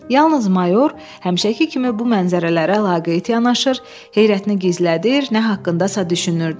Yalnız mayor həmişəki kimi bu mənzərələrə laqeyt yanaşır, heyrətini gizlədir, nə haqqındasa düşünürdü.